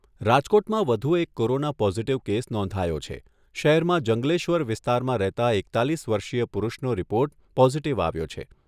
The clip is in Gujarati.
રાજકોટમાં વધુ એક કોરોના પોઝિટિવ કેસ નોંધાયો છે. શહેરમાં જંગલેશ્વર વિસ્તારમાં રહેતા એકતાલીસ વર્ષીય પુરુષનો રિપોર્ટ પોઝિટિવ આવ્યો છે.